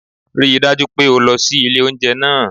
Rí i dájú pé o lọ sí ilé oúnjẹ náà